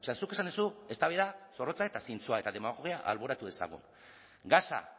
zuk esan duzu eztabaida zorrotza eta zintzoa eta demagogia alboratu dezagun gasa